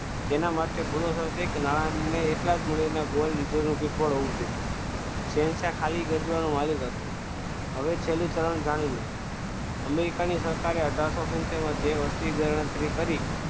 તેના માટે નાણાને એટલા જ મૂલ્યના ગોળ શહેનશાહ ખાલી ગજવાનો માલીક હતો હવે છેલ્લો ચરણ જાણી લો અમેરિકાની સરકારે અથાર્સો સિતેર માં જે વસ્તી ગણતરી કરી